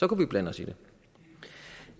kunne vi blande os i det